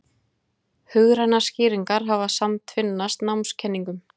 Hugrænar skýringar hafa samtvinnast námskenningum.